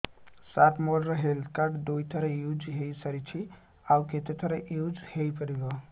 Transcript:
ସାର ମୋ health card ଦୁଇ ଥର ୟୁଜ଼ ହୈ ସାରିଛି ଆଉ କେତେ ଥର ୟୁଜ଼ ହୈ ପାରିବ